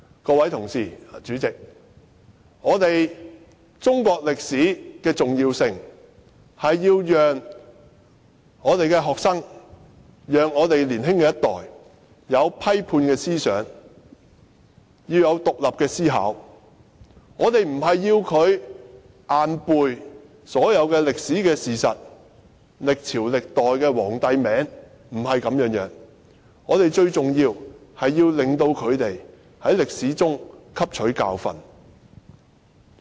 各位同事，主席，中國歷史的重要性，是要讓學生及年輕一代擁有批判思想和獨立思考，而不是要求他們硬背所有歷史事實和記下歷朝歷代皇帝的名字，不是這樣的，最重要是令他們從歷史中汲取教訓。